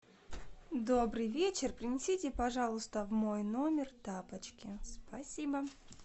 добрый вечер принесите пожалуйста в мой номер тапочки спасибо